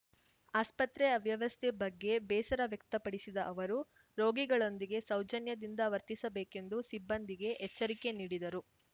ಆಸ್ಪತ್ರೆ ಅವ್ಯವಸ್ಥೆ ಬಗ್ಗೆ ಬೇಸರ ವ್ಯಕ್ತಪಡಿಸಿದ ಅವರು ರೋಗಿಗಳೊಂದಿಗೆ ಸೌಜನ್ಯದಿಂದ ವರ್ತಿಸಬೇಕೆಂದು ಸಿಬ್ಬಂದಿಗೆ ಎಚ್ಚರಿಕೆ ನೀಡಿದರು